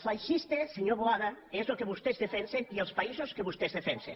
feixista senyor boada és el que vostès defensen i els països que vostès defensen